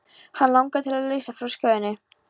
Hann langaði til að leysa frá skjóðunni.